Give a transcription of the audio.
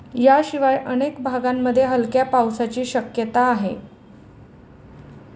याशिवाय अनेक भागांमध्ये हलक्या पावसाची शक्यता आहे.